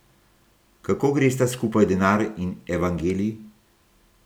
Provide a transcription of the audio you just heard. Kako gresta skupaj denar in evangelij?